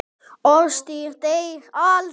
Orðstír deyr aldrei.